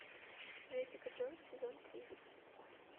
джессика джонс сезон три